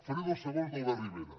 faré dos segons d’albert rivera